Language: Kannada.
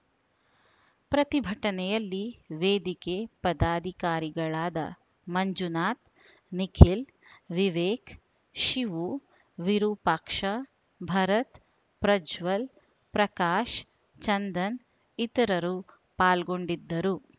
ಪ್ರತಿಭಟನೆಯಲ್ಲಿ ವೇದಿಕೆ ಪದಾಧಿಕಾರಿಗಳಾದ ಮಂಜುನಾಥ ನಿಖಿಲ್‌ ವಿವೇಕ ಶಿವು ವಿರೂಪಾಕ್ಷ ಭರತ್‌ ಪ್ರಜ್ವಲ್‌ ಪ್ರಕಾಶ ಚಂದನ ಇತರರು ಪಾಲ್ಗೊಂಡಿದ್ದರು